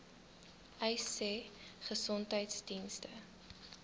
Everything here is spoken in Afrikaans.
uys sê gesondheidsdienste